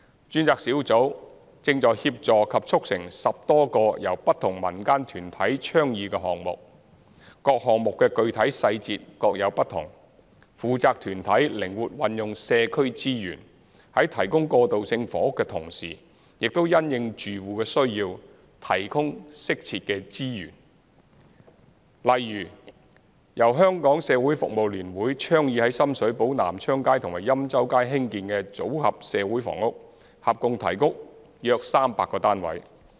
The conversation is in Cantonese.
專責小組正在協助及促成10多個由不同民間團體倡議的項目，各項目具體細節各有不同，負責團體靈活運用社區資源，在提供過渡性房屋的同時，亦因應住戶的需要，提供適切的支援，例如由香港社會服務聯會倡議於深水埗南昌街及欽州街興建"組合社會房屋"，合共提供約300個單位。